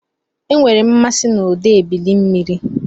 Enwere m mmasị na ụda ebili mmiri.